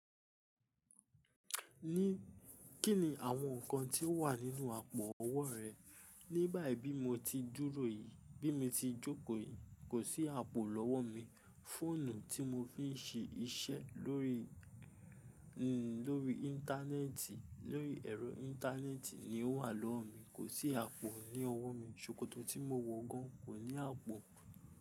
Kí ni àwọn nǹkan tí ó wà nínú àpò ọwọ́ rẹ? Nígbà bayi bi mo ti dúró yìí, bí mo ti jókò yìí, kò sí àpò lọ́wọ́ mi. Fóònù tí mo fi ń ṣe iṣẹ́ lórí, n, lórí íńtánẹ́ẹ̀tì, lórí ẹ̀rọ íńtánẹ́ẹ̀tì ni ó wà lọ́wọ́ mi. Kò sí àpò ní ọwọ́ mi. Ṣòkòtò tí mo wọ gan kò ní àpò.